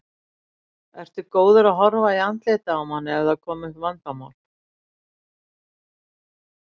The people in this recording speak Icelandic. Ertu góður að horfa í andlitið á manni ef það koma upp vandamál?